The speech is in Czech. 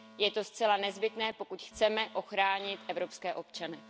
Je to zcela nezbytné, pokud chceme ochránit evropské občany.